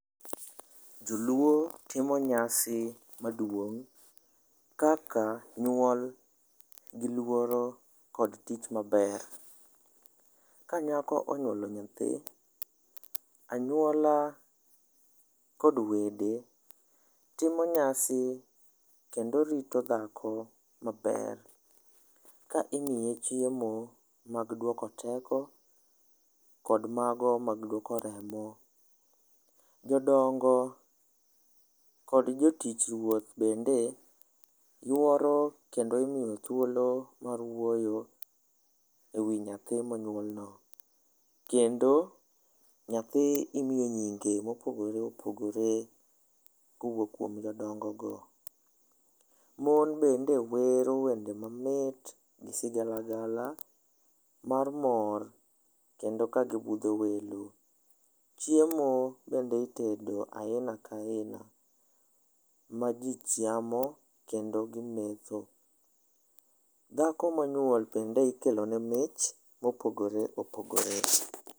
Joluo timo nyasi maduong' kaka nyuol gi luoro kod tich maber. Ka nyako onywolo nyathi, anyuola kod wede timo nyasi kendo rito dhako maber ka imiye chiemo mag dwoko teko kod mago mag dwoko remo. Jodongo kod jotich Ruoth bende yworo kendo imiyo thuolo mar wuoyo e wi nyathi monyuolno. Kendo, nyathi imiyo nyinge mopogore opogore kowuok kuom jodongogo. Mon bende wero wende mamit gi sigalagala, mar mor kendo kagibudho welo. Chiemo bende itedo aina ka aina ma ji chamo kendo gimetho. Dhako monyuol bende ikelone mich mopogore opogore.